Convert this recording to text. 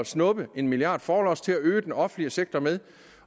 snuppe en milliard kroner forlods til at øge den offentlige sektor med